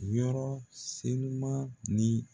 Yɔrɔ senuman ni.